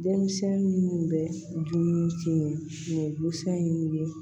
Denmisɛn minnu bɛ dumuni tiɲɛ o ye busan ye